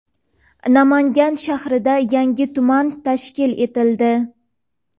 Namangan shahrida yangi tuman tashkil etildi.